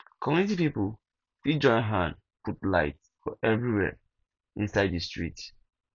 community pipo fit join hand put light for everywhere inside di street